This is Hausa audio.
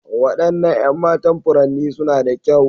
Waɗannan 'yan matan furanni suna da kyau.